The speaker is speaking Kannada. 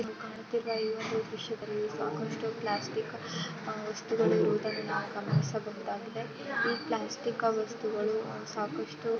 ಚಿತ್ರದಲ್ಲಿ ಕಾಣುತ್ತಿರುವ ಈ ದೃಶ್ಯದಲ್ಲಿ ಸಾಕಷ್ಟು ಪ್ಲಾಸ್ಟಿಕ್ ವಸ್ತುಗಳು ಇರುವುದನ್ನು ನಾವು ಇಲ್ಲಿ ಗಮನಿಸಬಹುದಾಗಿದೆ ಹಾಗೆ ಈ ಪ್ಲಾಸ್ಟಿಕ್ ವಸ್ತುಗಳು ಸಾಕಷ್ಟು--